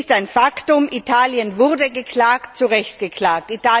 Es ist ein Faktum Italien wurde angeklagt, zu Recht angeklagt.